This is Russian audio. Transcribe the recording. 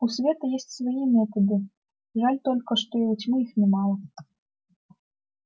у света есть свои методы жаль только что и у тьмы их немало